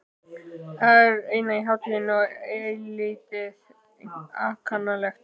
Það er í senn hátíðlegt og eilítið ankannalegt.